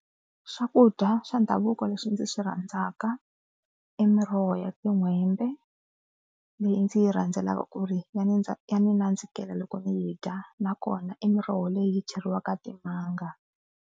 Xakudya xa ndhavuko lexi ndzi xi rhandzaka i miroho ya tin'hwembe leyi ndzi yi rhandzelaka ku ri ya ni ndza ya ndzi nandzikela loko ni yi dya nakona i miroho leyi yi cheriwaka timanga.